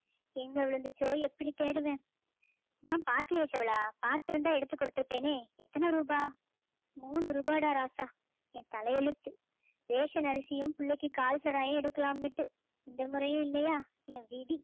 எங்க விழுந்திச்சோ எப்படி தேடுவேன் நான் பார்க்கலையே செவளா பார்த்திருந்தா எடுத்து கொடுத்து இருப்பேனே எத்தனை ரூபாய் மூணு ரூபாடா ராசா என் தலையெழுத்து ரேஷன் அரிசியும் பிள்ளைக்கு கால் சொராயும் எடுக்கலான்னுட்டு இந்த முறையும் இல்லையா என் விதி